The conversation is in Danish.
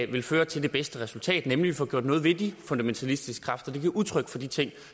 vil føre til det bedste resultat nemlig får gjort noget ved de fundamentalistiske kræfter der giver udtryk for de ting